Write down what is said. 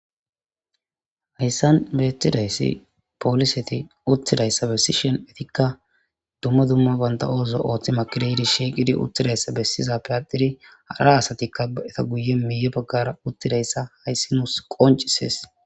hayssan beettidayssi pooliseti uttidayssa besishon etikka dumma dumma banta oozo ooththi makiradi shieqidi uttidayssa bessiza piyatiri hadhara asatikka a7eta guye miyo baggara uttidayssa hayssi nus qoncisees